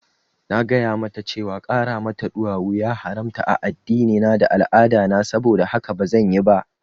Na gaya mata cewa ƙara mata ɗuwawu ya haramta a addinina da al'adana, saboda haka bazan yi ba